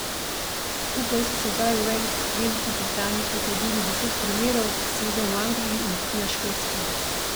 Skupaj so sedaj v Veliki Britaniji potrdili deset primerov, sedem v Angliji in tri na Škotskem.